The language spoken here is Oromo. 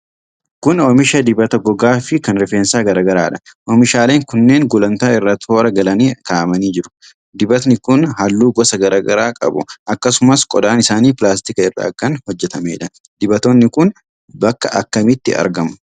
Kun oomisha dibata gogaa fi kan rifeensaa garaa garaadha. Omiishaaleen kunneen gulantaa irra toora galanii kaa'amanii jiru. Dibatoonni kun halluu gosa garaa garaa qabu. Akkasumas qodaan isaanii pilaastika irraa kan hojjatameedha. Dibatoonni kun bakka akkamitti argamu?